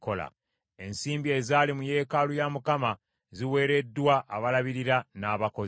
Ensimbi ezaali mu yeekaalu ya Mukama ziweereddwa abalabirira n’abakozi.”